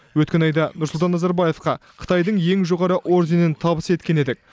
өткен айда нұрсұлтан назарбаевқа қытайдың ең жоғары орденін табыс еткен едік